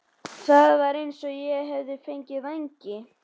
Það var eins og ég hefði fengið vængi.